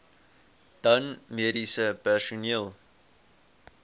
dan mediese personeel